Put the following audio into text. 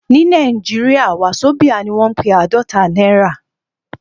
Ní Nàìjíríà, wasobia ni wọ́n ń pe àádọ́ta náírà